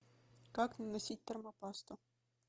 как наносить термопасту